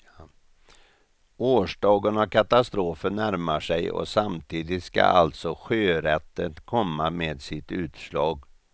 Årsdagen av katastrofen närmar sig och samtidigt ska alltså sjörätten komma med sitt utslag.